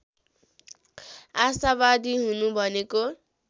आसावादी हुनु भनेको